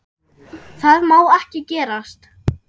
Það má ekki gerast.